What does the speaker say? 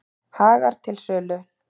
Hagar til sölu